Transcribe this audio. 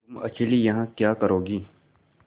तुम अकेली यहाँ क्या करोगी